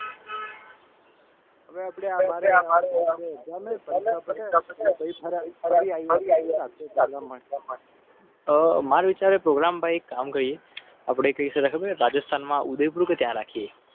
માર વિચારે પ્રોગ્રામ ભાઈ કામ કરીએ. માં ઉદયપુર.